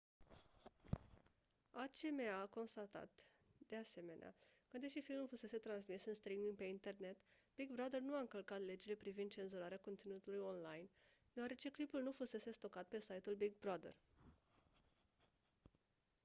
acma a constatat de asemenea că deși filmul fusese transmis în streaming pe internet big brother nu a încălcat legile privind cenzurarea conținutului online deoarece clipul nu fusese stocat pe site-ul big brother